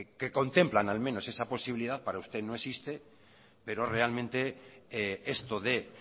que contemplan al menos esa posibilidad para usted no existe pero realmente esto de